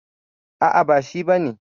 A'a, ba shi ba ne.